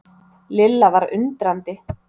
Lilla var undrandi.